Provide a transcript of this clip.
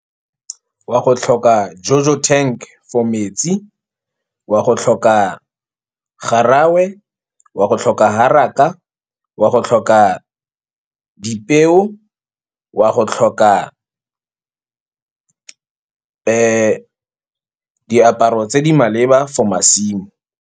Wa go tlhoka JoJo tank for metsi, wa go tlhoka graaf, wa go tlhoka , wa go tlhoka dipeo, wa go tlhoka diaparo tse di maleba for masimo.